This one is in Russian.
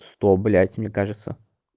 сто блять мне кажется